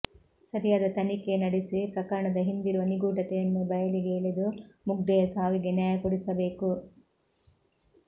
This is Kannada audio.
ಸರಿಯಾದ ತನಿಖೆ ನಡೆಸಿ ಪ್ರಕರಣದ ಹಿಂದಿರುವ ನಿಗೂಢತೆಯನ್ನು ಬಯಲಿಗೆ ಎಳೆದು ಮುಗ್ದೆಯ ಸಾವಿಗೆ ನ್ಯಾಯ ಕೊಡಿಸಬೇಕು